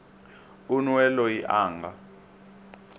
un we loyi a nga